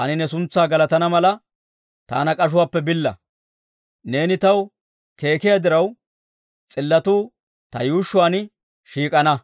Taani ne suntsaa galatana mala, taana k'ashuwaappe billa. Neeni taw keekiyaa diraw, s'illotuu ta yuushshuwaan shiik'ana.